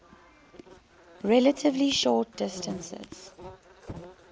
relatively short distances